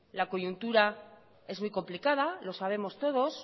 la coyuntura es muy complicada lo sabemos todos